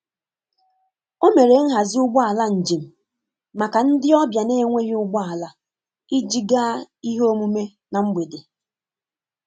O mere nhazi ụgbọ ala njem maka ndị ọbịa na-enweghị ụgbọ ala iji gaa ihe omume na mgbede.